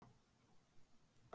Ósamkvæmnin var áberandi.